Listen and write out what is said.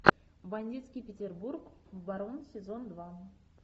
бандитский петербург барон сезон два